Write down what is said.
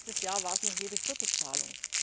Letztes Jahr war es noch jede vierte Zahlung.